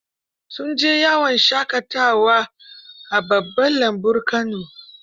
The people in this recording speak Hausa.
Sun je yawon shaƙatawa babban lambun Kano.